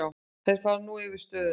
Þeir fari nú yfir stöðuna.